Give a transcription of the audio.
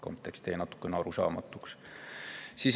Kontekst jäi natukene arusaamatuks.